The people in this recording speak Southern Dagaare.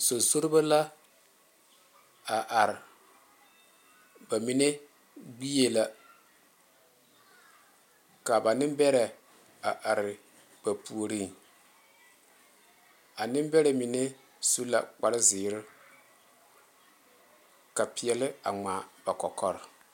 Zo zorbo la a are ba mine gbɛ la ka ba Nenbɛre a are ba puori a nenbɛre mine su la kpare ziiri ka peɛle a ŋmaa ba kɔkɔre.